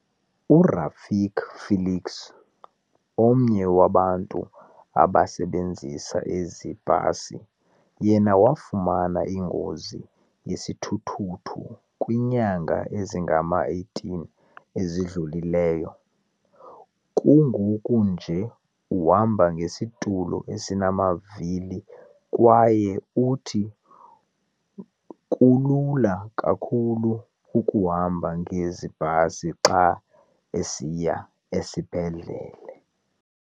URafiki Felix, omnye wabantu abasebenzisa ezi bhasi, yena wafumana ingozi yesithuthuthu kwiinyanga ezingama-18 ezidlulileyo. Kungoku nje uhamba ngesitulo esinamavili kwaye uthi kulula kakhulu ukuhamba ngezi bhasi xa esiya esibhedlele.